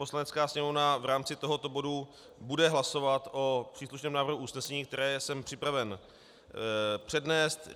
Poslanecká sněmovna v rámci tohoto bodu bude hlasovat o příslušném návrhu usnesení, které jsem připraven přednést.